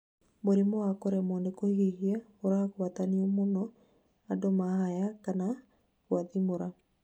mũrimũ wa kuremwo nĩ kũhuhia ũragwatanio mũno andũ mahaya kana gwathimũra